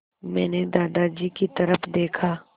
मैंने दादाजी की तरफ़ देखा